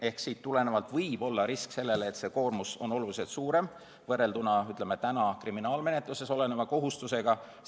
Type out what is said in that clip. Ehk siit tulenevalt võib-olla risk, et koormus on oluliselt suurem võrrelduna, ütleme, kriminaalmenetluses oleva kohustusega.